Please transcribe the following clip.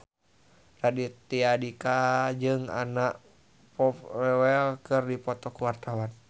Raditya Dika jeung Anna Popplewell keur dipoto ku wartawan